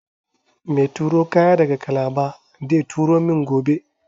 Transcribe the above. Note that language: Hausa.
meturo kaya daga kalaba deturomin gobe